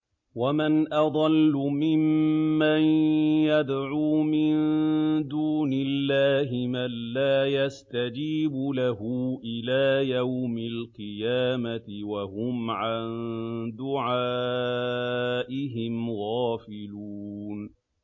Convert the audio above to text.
وَمَنْ أَضَلُّ مِمَّن يَدْعُو مِن دُونِ اللَّهِ مَن لَّا يَسْتَجِيبُ لَهُ إِلَىٰ يَوْمِ الْقِيَامَةِ وَهُمْ عَن دُعَائِهِمْ غَافِلُونَ